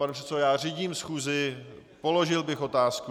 Pane předsedo, já řídím schůzi, položil bych otázku.